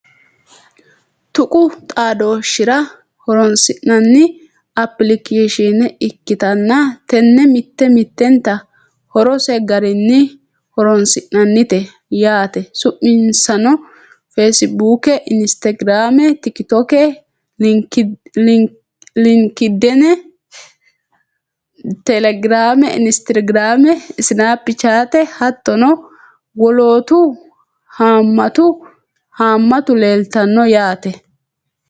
tuqu xaadooshshira horonsi'nanni apilikeeshine ikkitanna, tenne mitte mittenta horose garinni horonsi'nannite yaate, su'minsano: feesibuuke, inistagiraame, tikitokke, linkidiine, telegiraame, instagiraame, snapichate hattono wolootu haammatu leeltanno yaate.